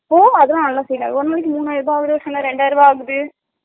ஹோ அதுல்ல நல்ல sale ஆகுது ஒருநாள் மூனு ஆகுது ஒருநாள் ரெண்டாயிரூவா ஆகுது